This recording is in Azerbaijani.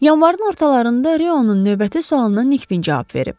Yanvarın ortalarında Reonun növbəti sualına Nikvin cavab verib.